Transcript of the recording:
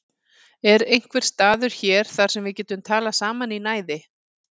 Er einhver staður hér þar sem við getum talað saman í næði?